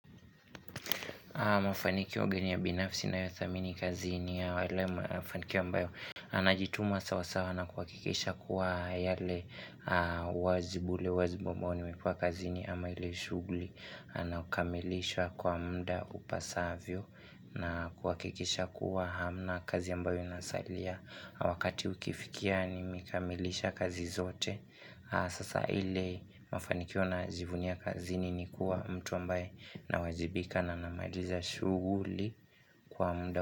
Mafanikio gani ya binafsi ninayothamini kazini ya wale mafanikio ambayo Anajitumwa sawasawa na kuhakikisha kuwa yale wazi bule wazi ambao nimekuwa kazini ama ile shughuli Naukamilishwa kwa muda upasavyo na kuhakikisha kuwa hamna kazi ambayo inasalia Wakati ukifikia nimekamilisha kazi zote Sasa ile mafanikio najivunia kazini ni kuwa mtu ambaye nawajibika na namaliza shughuli kwa muda.